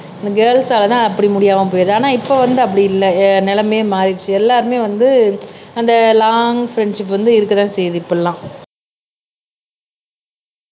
girls ஆள அப்படி முடியாமல் போயிடுது ஆனா இப்ப வந்து அப்படி இல்ல நிலைமையை மாறிடுச்சு எல்லாருமே வந்து அந்த லாங் ஃப்ரண்ட்ஷிப் வந்து இருக்கத்தான் செய்யுது இப்பல்லாம்